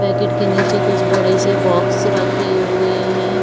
Packet के नीचे कुछ बडे से बॉक्स रखे हुए हैं।